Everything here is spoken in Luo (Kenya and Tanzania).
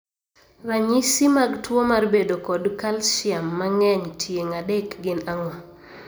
Ranyisi mag tuo mar bedo kod kalsiam mang'eny tieng' adek gin ang'o?